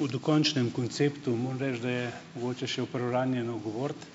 V dokončnem konceptu moram reči, da je mogoče še v preuranjeno govoriti.